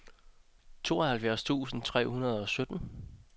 tooghalvfjerds tusind tre hundrede og sytten